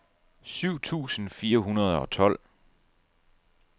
syv tusind fire hundrede og tolv